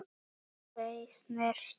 Þau snertu mig.